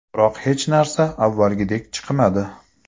Biroq hech narsa avvalgidek chiqmadi.